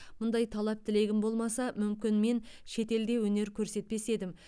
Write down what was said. мұндай талап тілегім болмаса мүмкін мен шетелде өнер көрсетпес едім